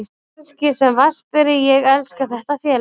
Kannski sem vatnsberi, ég elska þetta félag.